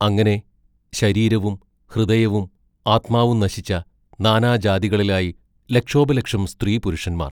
അങ്ങനെ ശരീരവും ഹൃദയവും ആത്മാവും നശിച്ച നാനാജാതികളിലായി ലക്ഷോപലക്ഷം സ്ത്രീപുരുഷന്മാർ.